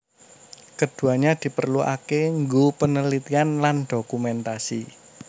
Keduanya diperluake nggo penelitian lan dokumentasi